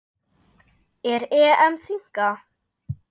Er EM þynnka?